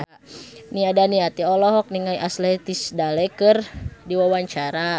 Nia Daniati olohok ningali Ashley Tisdale keur diwawancara